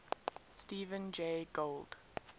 stephen jay gould